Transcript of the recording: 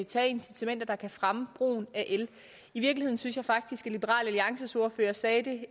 tage incitamenter der kan fremme brugen af el i virkeligheden synes jeg faktisk at liberal alliances ordfører sagde det